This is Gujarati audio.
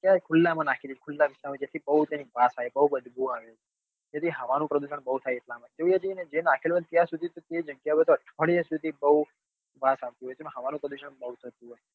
તાય્રે ખુલ્લા માં નાખી દે ખુલા રસ્તા માજેથી બઉ તેની વાત આવે બદબૂ આવે તેથી હવા નું પ્રદુષણ બઉ થાય એટલા માં તે જી ને જ્યાં નાખેલી હોય ત્યાં સુધી તો અઠવાડિયા સુધી બઉ વાસ આવતી હોય અને હવા નું પ્રદુષણ બઉ થતું હોય